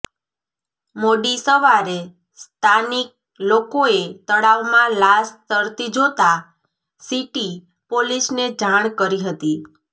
મોડી સવારે સ્તાનિક લોકોએ તળાવમાં લાશ તરતી જોતા સીટી પોલીસને જાણ કરી હતી